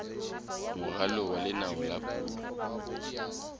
moralo wa leano la puo